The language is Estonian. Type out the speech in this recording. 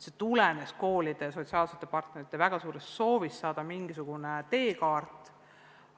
See tulenes koolide ja sotsiaalsete partnerite väga suurest soovist saada mingisugunegi teekaart